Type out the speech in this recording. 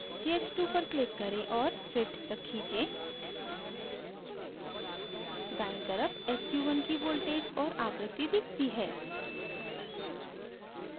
ch2 पर click करें और fit तक खींचें दायीं तरफ sq1 की voltage और आवृत्ति दिखती है